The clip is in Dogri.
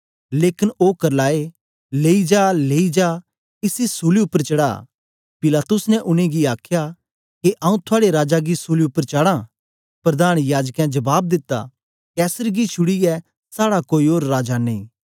लेकन ओ करलाए लेई जा लेई जा इसी सूली उपर चढ़ा पिलातुस ने उनेंगी आखया के आऊँ थुआड़े राजा गी सूली उपर चाडां प्रधान याजकें जबाब दिता कैसर गी छुड़ीयै साड़ा कोई ओर राजा नेई